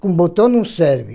Com botão não serve.